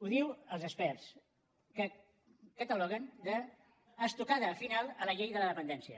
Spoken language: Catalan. ho diuen els experts que ho cataloguen d’ estocada final a la llei de la dependència